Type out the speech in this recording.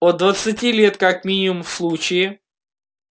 от двадцати лет как минимум в случае